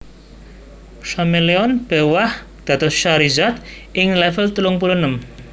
Charmeleon béwah dados Charizard ing level telung puluh enem